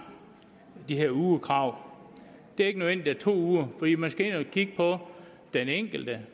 de her ugekrav det er ikke nødvendigt med to uger fordi man skal ind at kigge på den enkelte